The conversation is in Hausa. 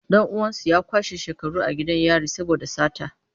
Dan uwansu ya kwashe shekaru a gidan yari saboda sata.